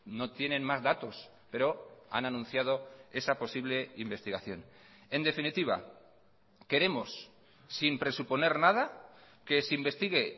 no tienen más datos pero han anunciado esa posible investigación en definitiva queremos sin presuponer nada que se investigue